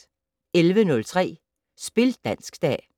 11:03: Spil dansk-dag